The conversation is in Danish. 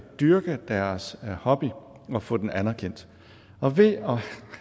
dyrke deres hobby og få den anerkendt og ved at